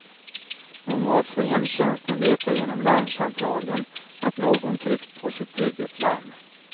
Normalt får hemtjänsten veta genom larmcentralen att någon tryckt på sitt trygghetslarm.